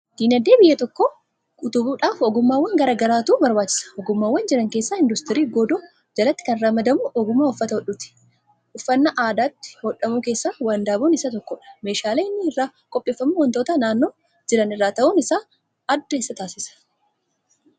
Diinagdee biyya tokkoo utubuudhaf ogummaawwan garaagaratu barbaachisa ogummaawwan jiran keessa induustirii godoo jalatti kan ramadamu ogumaa uffata hodhuuti, uffanaa addatti hodhamu keessaa wandaboon isa tokkodha, meeshaalee inni irraa qopheeffamu wantoota naannoo jiran irraa ta'uun isaa adda isa taasisa?